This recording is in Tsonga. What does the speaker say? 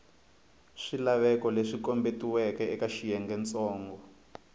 swilaveko leswi kombetiweke eka xiyengentsongo